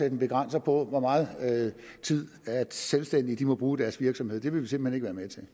en begrænsning på hvor meget tid selvstændige må bruge i deres virksomhed vil vi simpelt hen